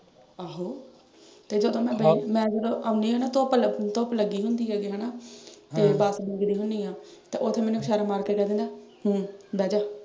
ਆਹੋ ਤੇ ਜਦੋਂ ਮੈਂ ਅਹ ਮੈਂ ਜਦੋਂ ਆਉਣੀ ਆਂ ਨਾ ਧੁੱਪ ਅਹ ਧੁੱਪ ਲੱਗੀ ਹੁੰਦੀ ਆ ਜਿਵੇਂ ਹਨਾਂ ਤੇ ਬਸ ਉਡੀਕਦੀ ਹੁਨੀ ਆ ਤੇ ਉੱਥੇ ਮੈਨੂੰ ਸਿਰ ਮਾਰ ਕੇ ਕਹਿ ਦਿੰਦਾ ਹਮ ਬਹਿ ਜ ਜਾ।